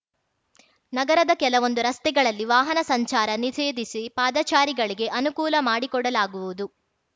ನಗರದ ಕೆಲವೊಂದು ರಸ್ತೆಗಳಲ್ಲಿ ವಾಹನ ಸಂಚಾರ ನಿಷೇಧಿಸಿ ಪಾದಚಾರಿಗಳಿಗೆ ಅನುಕೂಲ ಮಾಡಿಕೊಡಲಾಗುವುದು